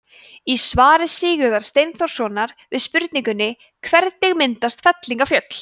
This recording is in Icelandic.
í svari sigurðar steinþórssonar við spurningunni hvernig myndast fellingafjöll